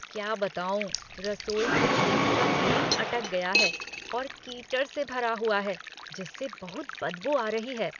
क्या बताऊँ, रसोई के सिंक का ड्रेन अटक गया है और कीचड़ से भरा हुआ है जिससे बहुत बदबू आ रही है।